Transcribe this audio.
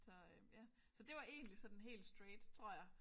Så øh ja så det var egentlig sådan helt straight tror jeg